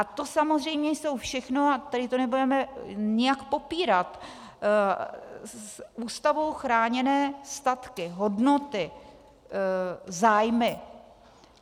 A to samozřejmě jsou všechno, a tady to nebudeme nijak popírat, Ústavou chráněné statky, hodnoty, zájmy.